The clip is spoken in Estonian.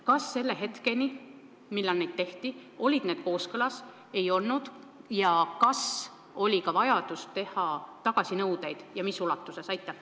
Kas hetkeni, millal neid tehti, olid need kooskõlas või ei olnud ja kas oli ka vajadus teha tagasinõudeid ning kui oli, siis mis ulatuses?